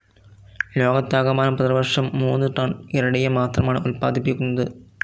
ലോകത്താകമാനം പ്രതിവർഷം മൂന്ന് ടൺ ഇറിഡിയം മാത്രമാണ് ഉൽപ്പാദിപ്പിക്കുന്നത്.